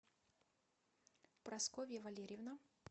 прасковья валерьевна